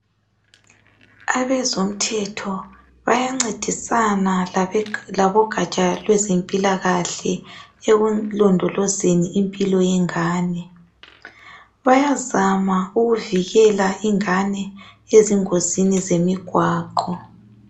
Abezomthetho bayancedisana labogatsha lwezempilakahle ekulondolozeni impilo yengane bayazama ukuvikela ingane ezingozini zemigwaqo